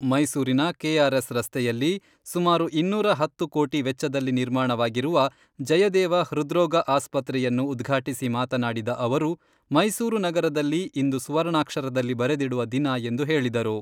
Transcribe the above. ಮೈಸೂರಿನ ಕೆಆರ್ಎಸ್ ರಸ್ತೆಯಲ್ಲಿ, ಸುಮಾರು ಇನ್ನೂರ ಹತ್ತು ಕೋಟಿ ವೆಚ್ಚದಲ್ಲಿ ನಿರ್ಮಾಣವಾಗಿರುವ ಜಯದೇವ ಹೃದ್ರೋಗ ಆಸ್ಪತ್ರೆಯನ್ನು ಉದ್ಘಾಟಿಸಿ ಮಾತನಾಡಿದ ಅವರು , ಮೈಸೂರು ನಗರದಲ್ಲಿ ಇಂದು ಸುವರ್ಣಾಕ್ಷರದಲ್ಲಿ ಬರೆದಿಡುವ ದಿನ ಎಂದು ಹೇಳಿದರು.